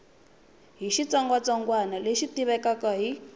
hi xitsongwatsongwana lexi tivekaka hi